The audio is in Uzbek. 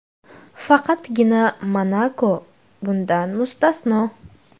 Faqatgina ‘Monako‘ bundan mustasno.